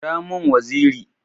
Kira mun waziri!